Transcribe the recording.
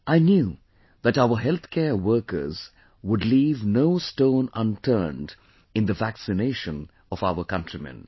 I knew that our healthcare workers would leave no stone unturned in the vaccination of our countrymen